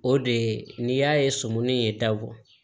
O de ye n'i y'a ye sumuni ye dabɔ